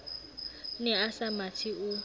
ne a sa mathe o